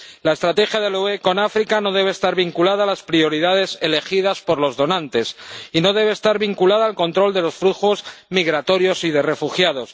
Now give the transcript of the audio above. La estrategia de la UE con África no debe estar vinculada a las prioridades elegidas por los donantes y no debe estar vinculada al control de los flujos migratorios y de refugiados.